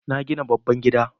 Na gina babban gida